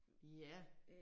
Ja